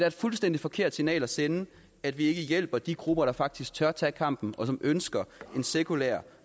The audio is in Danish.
et fuldstændig forkert signal at sende at vi ikke hjælper de grupper der faktisk tør tage kampen op og som ønsker en sekulær